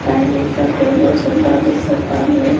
आणि तो टेबल सुद्धा दिसत आहे.